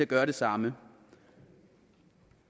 gøre det samme